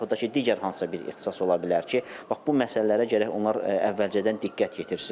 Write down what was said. Və yaxud da ki, digər hansısa bir ixtisas ola bilər ki, bax bu məsələlərə gərək onlar əvvəlcədən diqqət yetirsinlər.